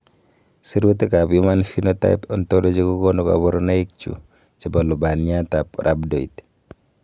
Sirutikab Human Phenotype Ontology kokonu koborunoikchu chebo lubaniatab Rhabdoid.